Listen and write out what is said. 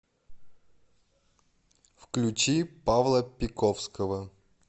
включи павла пиковского